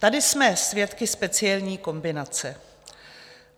Tady jsme svědky speciální kombinace.